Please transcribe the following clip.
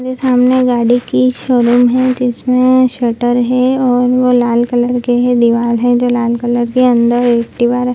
मे सामने गाड़ी की शोरूम है जिसमे शटर है और वो लाल कलर के है दीवाल है जो लाल कलर के अंदर एक दिवाल है।